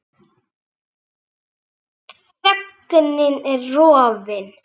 Þögnin er rofin.